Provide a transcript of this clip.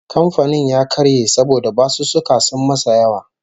Kamfanin ya karye saboda basussuka sun masa yawa